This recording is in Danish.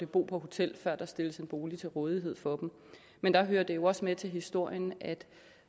bo på hotel før der stilles en bolig til rådighed for dem men der hører det jo også med til historien at